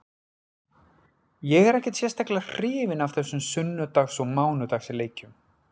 Ég er ekkert sérstaklega hrifinn af þessum sunnudags og mánudags leikjum.